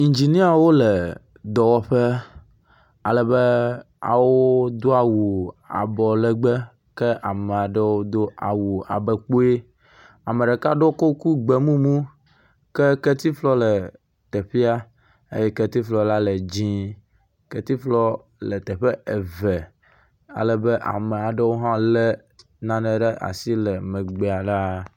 Indziniawo le dɔwɔƒe alebe wodo awu abɔ legbe, ke amea ɖewo do awu abɔ kpoe. Ame ɖeka ɖo kuku gbe mumu, ke kletifɔ le teƒea eye kletifɔa le dzɛ̃e. kletifɔ le teƒe eve alebe ame aɖewo hã lé nane le asi le megbea ɖaa.